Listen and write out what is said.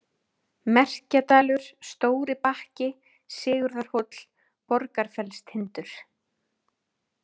Merkjadalur, Stóribakki, Sigurðarhóll, Borgarfellstindur